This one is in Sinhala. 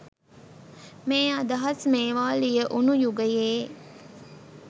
මේ අදහස් මේවා ලියවුණු යුගයේ